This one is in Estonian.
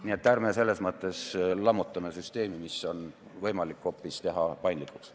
Nii et selles mõttes ärme lammutame süsteemi, mida on võimalik teha paindlikuks.